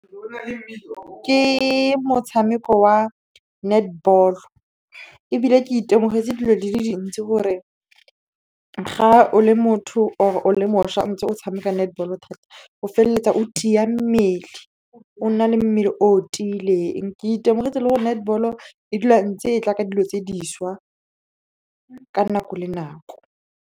Ke motshameko wa netball ebile ke itemogetse dilo di le dintsi gore ga o le motho or o le mošwa ntse o tshameka netball thata o feleletsa o tia mmele, o nna le mmele o tileng. Ke itemogetse le gore netball-o e dula e ntse e tla ka dilo tse dišwa ka nako le nako.